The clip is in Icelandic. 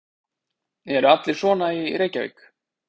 Eru allir svona í Reykjavík?